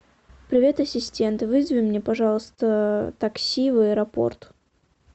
привет ассистент вызови мне пожалуйста такси в аэропорт